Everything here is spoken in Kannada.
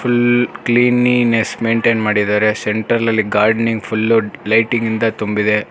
ಫುಲ್ ಕ್ಲಿನಿನೆಸ್ ಮೆಂಟೇನ್ ಮಾಡಿದರೆ ಸೆಂಟ್ರಲ್ಅಲಿ ಗಾರ್ಡನಿಂಗ್ಫೈಲು ಲೈಟಿಂಗ್ ನಿಂದ ತುಂಬಿದೆ.